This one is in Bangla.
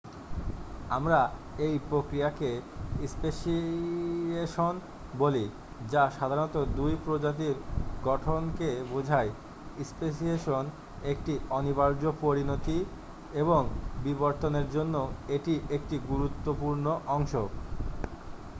আমরা এই প্রক্রিয়াকে স্পেশিয়েশন বলি যা সাধারণত নতুন প্রজাতির গঠনকে বোঝায় স্পেসিয়েশন একটি অনিবার্য পরিণতি এবং বিবর্তনের জন্য এটি একটি গুরুত্বপূর্ণ অংশ